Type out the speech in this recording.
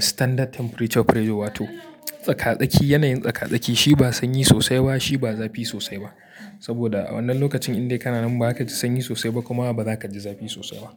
standard temperature pressure, wato tsaka tsaki. Yanayin tsaka tsaki shi ba sanyi sosai ba, shi ba zafi sosai ba. Saboda a wannan lokacin indai kana nan ba za ka ji sanyi sosai ba, kuma ba za ka ji zafi sosai ba.